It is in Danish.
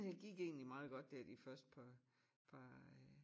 Det gik egentlig meget godt der de første par par øh